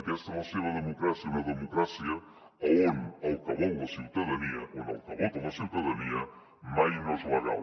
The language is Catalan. aquesta és la seva democràcia una democràcia on el que vol la ciutadania on el que vota la ciutadania mai no és legal